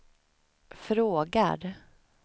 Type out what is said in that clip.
frågar